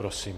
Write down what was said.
Prosím.